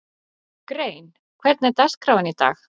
Grein, hvernig er dagskráin í dag?